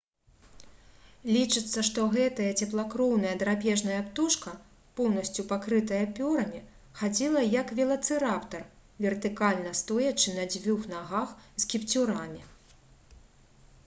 лічыцца што гэтая цеплакроўная драпежная птушка поўнасцю пакрытая пёрамі хадзіла як велацыраптар вертыкальна стоячы на дзвюх нагах з кіпцюрамі